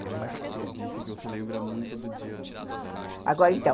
Mas você disse que você lembra muito do dia da morte, agora então